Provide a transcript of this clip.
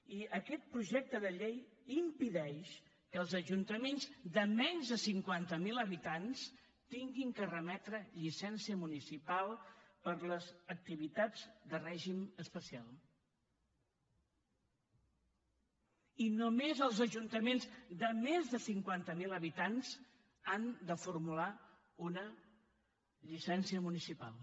i aquest projecte de llei impedeix que els ajuntaments de menys de cinquanta mil habitants hagin de remetre llicència municipal per les activitats de règim especial i només els ajuntaments de més de cinquanta mil habitants han de formular una llicència municipal